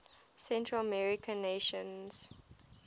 central american nations